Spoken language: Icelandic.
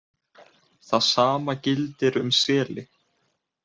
Það sama gildir um seli